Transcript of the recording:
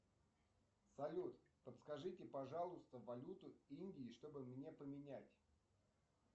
салют подскажите пожалуйста валюту индии чтобы мне поменять